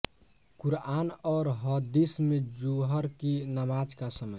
क़ुरआन और हदीस में जुहर की नमाज का समय